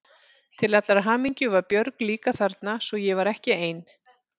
Til allrar hamingju var Björg líka þarna svo ég var ekki ein.